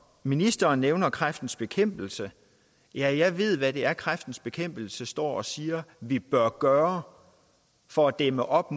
ministeren nævner kræftens bekæmpelse jeg jeg ved hvad det er kræftens bekæmpelse står og siger at vi bør gøre for at dæmme op